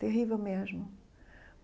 terrível mesmo.